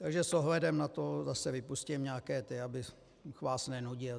Takže s ohledem na to zase vypustím nějaké věci, abych vás nenudil.